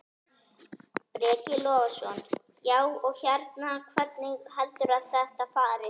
Breki Logason: Já, og hérna, hvernig heldurðu að þetta fari?